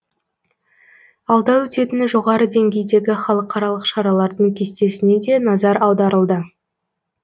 алда өтетін жоғары деңгейдегі халықаралық шаралардың кестесіне де назар аударылды